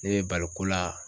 Ne bɛ bali ko la